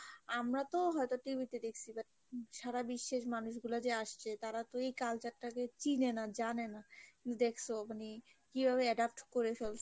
আমরা তো হয়তো TVতে দেখছি but সারা বিশ্বের মানুষগুলো যে আসছে তারা তো এই culture টাকে চিনে না জানেনা, কিন্তু দেখসো মানে কিভাবে adapt করে ফেলসে